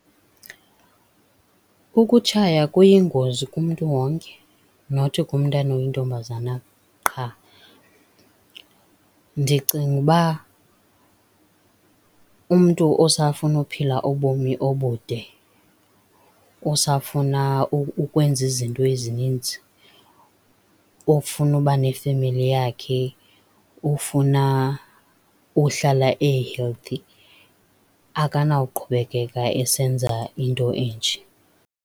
Ukutshaya kuyingozi kumntu wonke nothi kumntana oyintombazana qha. Ndicinga ukuba umntu osafuna uphila ubomi obude, osafuna ukwenza izinto ezininzi, ofuna uba nefemeli yakhe, ofuna uhlala e-healthy akanawuqhubekeka esenza into enje.